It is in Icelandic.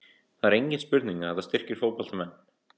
Það er engin spurning að þetta styrkir fótboltamenn.